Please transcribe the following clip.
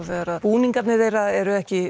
þegar búningarnir eru ekki